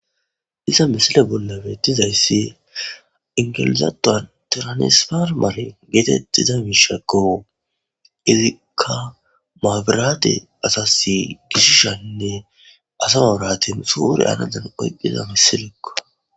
iza misile bollabe tizayssi ingelizatan tiranisfarmare geetettiza miishakko irika maabiraate asasi gishishaynne asa mabirate usuure anadan oyqqiza missilikko